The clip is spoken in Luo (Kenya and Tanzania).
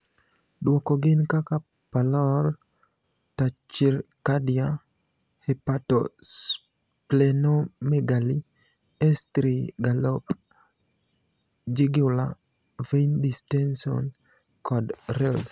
Duoko gin kaka pallor, tachycardia, hepatosplenomegaly, S3 gallop, jugular vein distension, kod rales.